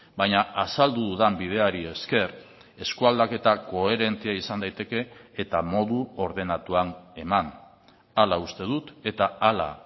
baina azaldu dudan bideari esker eskualdaketak koherentea izan daiteke eta modu ordenatuan eman hala uste dut eta hala